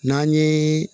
N'an ye